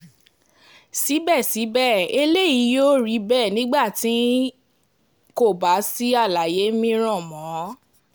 síbẹ̀síbẹ̀ eléyìí yóò rí bẹ́ẹ̀ nígbà tí um kò bá um sí àlàyé mìíràn mọ́